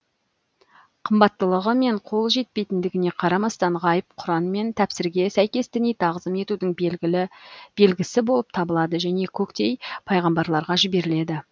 қымбаттылығы мен қол жетпейтіндігіне қарамастан ғайып құран мен тәпсірге сәйкес діни тағзым етудің белгісі болып табылады және көктей пайғамбарларға жіберіледі